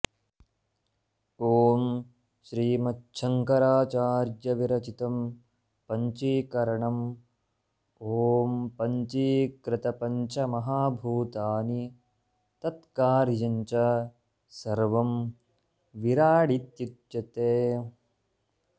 ॐ श्रीमच्छंकराचार्यविरचितम् पञ्चीकरणम् ॐ पञ्चीकृतंपञ्चमहाभूतानि तत्कार्यं च सर्वं विराडित्युच्यते